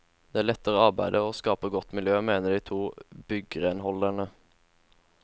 Det letter arbeidet og skaper godt miljø, mener de to byggrenholderne.